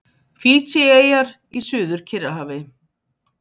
Fídjieyjar í Suður-Kyrrahafi.